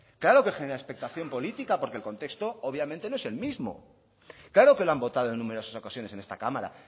claro que genera expectación política porque el contexto obviamente no es el mismo claro que lo han votado en numerosas ocasiones en esta cámara